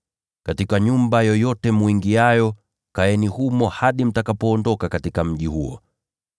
Katika nyumba yoyote mwingiayo, kaeni humo hadi mtakapoondoka katika mji huo.